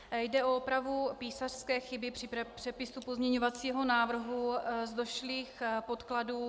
Jde o opravu písařské chyby při přepisu pozměňovacího návrhu z došlých podkladů.